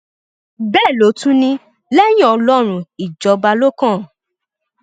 bẹẹ ló tún ní lẹyìn ọlọrun ìjọba ló kàn ọ